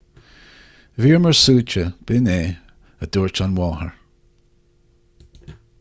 bhíomar suaite b'in é a dúirt an mháthair